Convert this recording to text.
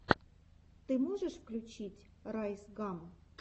ты можешь включить райс гам